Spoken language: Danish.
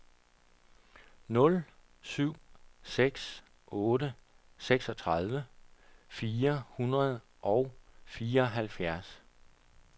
nul syv seks otte seksogtredive fire hundrede og fireoghalvfems